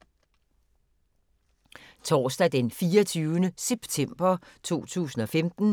Torsdag d. 24. september 2015